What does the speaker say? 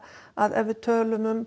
að ef við tölum um